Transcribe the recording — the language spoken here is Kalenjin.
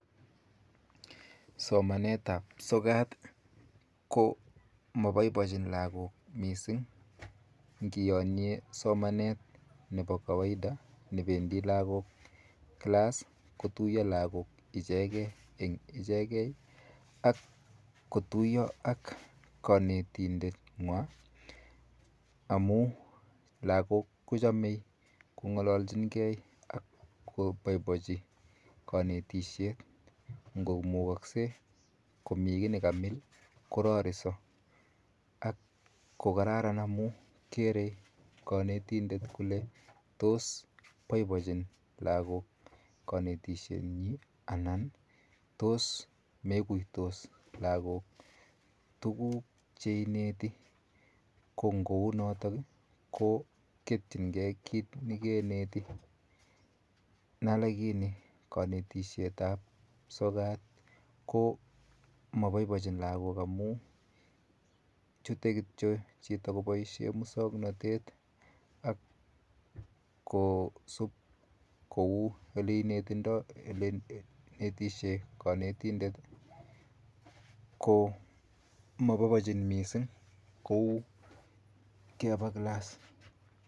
Somanet ap sokat ko mapaipachin lagok missing' ngi yanye somanet nepo kawaida nependi lagok klass kotuya lagok ichege eng' ichege ak kotuya ak kanetindetng'wa amu lagok ko chamei kong'alachin gei akopaipachi kanestisiet ngo mukakse komi mi ki ne kamil korarisa ak ko kararan amu kere kanetindet kole tos poipochin lagok kanetishenyi anan tos meguitos lagok tuguuk che ineti ko ngou notok ko ketchingei tuguk che keneti. Nalekini kanetishetap sokat ko mapaipachin lagok amu chuto kityo chito kopaishe muswaknatet ak kosup kou oleinetesh kanetindet. Ko mapaipachin missing kou kepa klas.